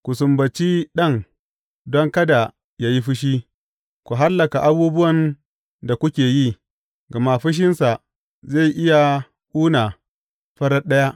Ku sumbaci Ɗan, don kada yă yi fushi ku hallaka a abubuwan da kuke yi, gama fushinsa zai iya kuna farat ɗaya.